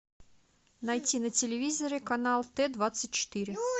найти на телевизоре канал т двадцать четыре